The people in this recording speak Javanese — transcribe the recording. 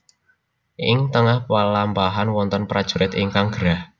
Ing tengah pelampahan wonten prajurit ingkang gerah